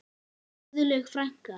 Guðlaug frænka.